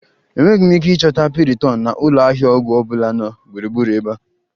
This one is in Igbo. Enweghị m ike ịchọta piriton na ụlọ ahịa ọgwụ ọ bụla na gburugburu ebe a